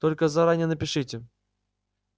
только заранее напишите